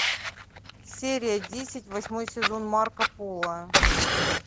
серия десять восьмой сезон марко поло